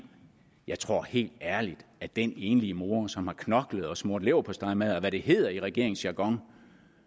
jeg tror helt ærligt at den enlige mor som har knoklet og smurt leverpostejmadder og hvad det hedder i regeringens jargon